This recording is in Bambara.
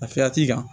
Lafiya t'i kan